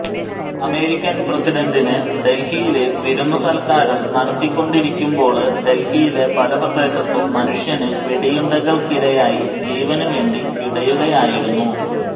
American പ്രസിഡന്റിന് ഡല്ഹിയില് വിരുന്ന് സല്ക്കാരം നടത്തിക്കൊണ്ടിരിക്കുമ്പോള് ഡല്ഹിയിലെ പല പ്രദേശത്തും മനുഷ്യന് വെടിയുണ്ടക്കിരയായി ജീവനു വേണ്ടി പിടയുകയായിരുന്നു